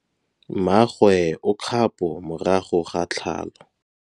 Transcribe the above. Mmagwe o kgapô morago ga tlhalô.